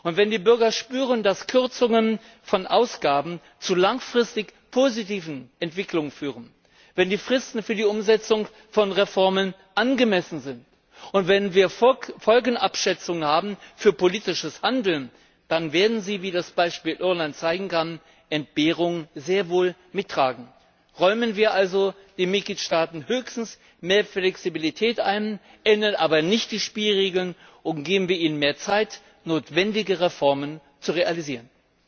Und wenn die Bürger spüren, dass Kürzungen von Ausgaben zu langfristig positiven Entwicklungen führen, wenn die Fristen für die Umsetzung von Reformen angemessen sind und wenn wir Folgenabschätzungen für politisches Handeln haben, dann werden sie wie das Beispiel Irland zeigen kann Entbehrungen sehr wohl mittragen. Räumen wir also den Mitgliedstaaten höchstens mehr Flexibilität ein, ändern wir aber nicht die Spielregeln und geben wir ihnen mehr Zeit, notwendige Reformen zu realisieren!